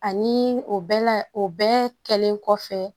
Ani o bɛɛ la o bɛɛ kɛlen kɔfɛ